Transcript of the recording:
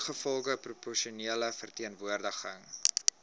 ingevolge proporsionele verteenwoordiging